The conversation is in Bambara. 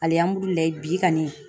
bi kɔni